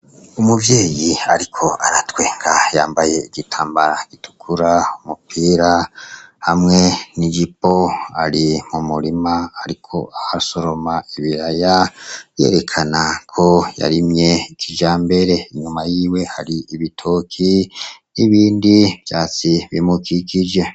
Umuvyeyi, ariko aratwenka yambaye igitambara gitukura umupira hamwe nijipo ari mu murima, ariko ah a soroma ibiraya yerekana ko yarimye ikija mbere inyuma yiwe hari ibitoki n'ibindi vyatsi bimuue kigije.